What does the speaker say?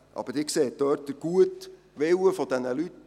Aber Sie sehen dort den guten Willen dieser Leute.